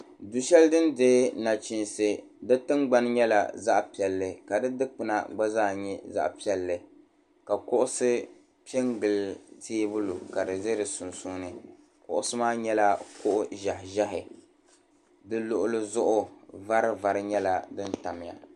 Du'shɛli din dihi nachinsi tingbuna nyɛ zaɣ'piɛlli ka di dugbuna gba zaa nyɛ zaɣ'piɛlli ka kuɣisi pɛ gili teebuli duu ka di za di sunsuuni kuɣisi maa nyɛla kuɣi ʒehi ʒehi di lɔɣili zuɣu vari vari nyɛla di tabimiya.